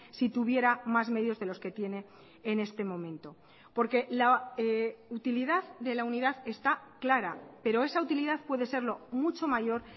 si tuviera más medios de los que tiene en este momento porque la utilidad de la unidad está clara pero esa utilidad puede serlo mucho mayor